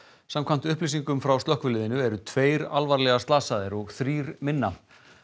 samkvæmt upplýsingum frá slökkviliðinu eru tveir alvarlega slasaðir og þrír minna